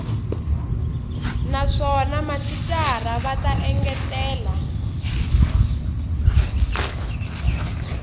naswona mathicara va ta engetela